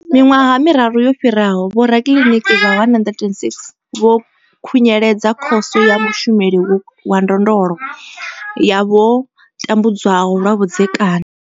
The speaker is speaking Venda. Miiṅwaha miraru yo fhiraho, vhorakiliniki vha 106 vho khunyeledza Khoso ya Mushumeli wa Ndondolo ya vho tambudzwaho lwa vhudzekani.